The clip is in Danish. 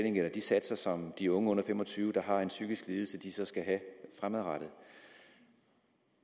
de satser som de unge under fem og tyve år der har en psykisk lidelse skal have fremadrettet